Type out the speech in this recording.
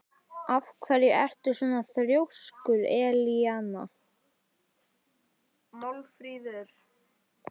Af hverju ertu svona þrjóskur, Elíana?